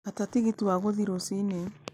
gata tigiti wa guthiĩ rũcinĩ